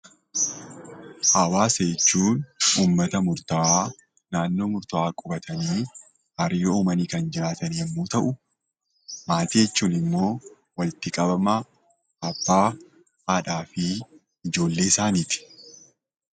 Hawaasa jechuun uummata murtaawaa naannoo murtaawaa qubatanii hariiroo uumanii kan jiraatan yommuu ta'u, maatii jechuun immoo walitti qabama abbaa, haadhaa fi ijoollee isaaniiti.